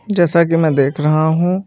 जैसा कि मैं देख रहा हूं।